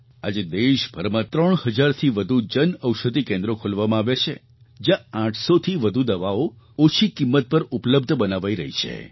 આજે દેશભરમાં 3 હજારથી વધુ જન ઔષધિ કેન્દ્રો ખોલવામાં આવ્યાં છે જ્યાં 800થી વધુ દવાઓ ઓછી કિંમત પર ઉપલબ્ધ બનાવાઈ રહી છે